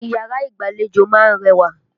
Yàrá ìgbàlejò ma ń rẹwà.